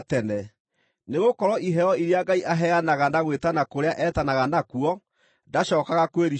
nĩgũkorwo iheo iria Ngai aheanaga na gwĩtana kũrĩa etanaga nakuo ndacookaga kwĩricũkwo.